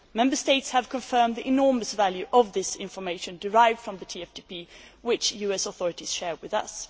Member States have confirmed the enormous value of this information derived from the TFTP which the US authorities share with us.